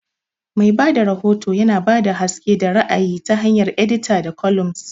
Mai ba da rahoto yana ba da haske da ra'ayi ta hanyar edita da columns.